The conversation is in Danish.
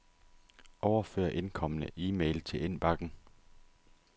Overfør indkomne e-mail til indbakken.